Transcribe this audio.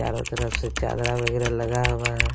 चारों तरफ से चादरा वगैरह लगा हुआ है।